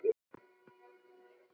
Ég verð að segja það.